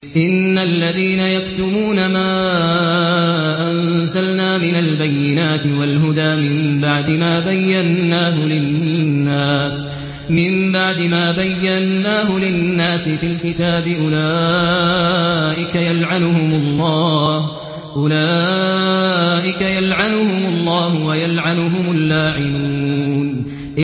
إِنَّ الَّذِينَ يَكْتُمُونَ مَا أَنزَلْنَا مِنَ الْبَيِّنَاتِ وَالْهُدَىٰ مِن بَعْدِ مَا بَيَّنَّاهُ لِلنَّاسِ فِي الْكِتَابِ ۙ أُولَٰئِكَ يَلْعَنُهُمُ اللَّهُ وَيَلْعَنُهُمُ اللَّاعِنُونَ